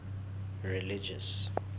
religious